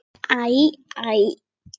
Æ. æ.